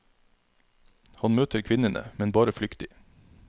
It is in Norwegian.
Han møter kvinnene, men bare flyktig.